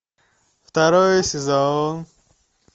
второй сезон